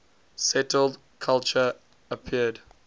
settled culture appeared